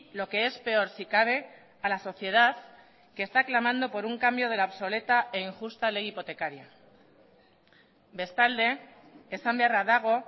lo que es peor si cabe a la sociedad que está clamando por un cambio de la obsoleta e injusta ley hipotecaria bestalde esan beharra dago